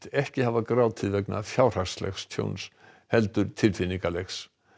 ekki hafa grátið vegna fjárhagslegs tjóns heldur tilfinningalegs